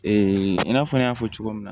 i n'a fɔ n y'a fɔ cogo min na